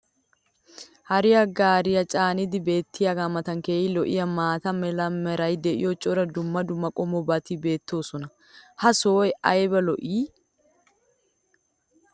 hare gaaree haattaa caanidi beetiyaagaa matan keehi lo'iyaa maata mala meray diyo cora dumma dumma qommobati beetoosona. ha sohoy ayba lo'ii?